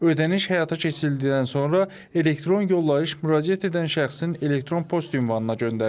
Ödəniş həyata keçirildikdən sonra elektron yollayış müraciət edən şəxsin elektron post ünvanına göndərilir.